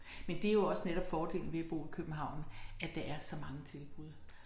Men det jo også netop fordelen ved at bo i København at der er så mange tilbud